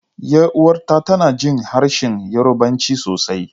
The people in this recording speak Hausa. Yar uwata tana jin harshen Yarbanci sosai.